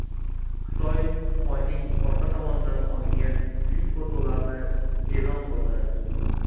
Xitoy Oyning orqa tomonidan olingan ilk fotolarni e’lon qildi.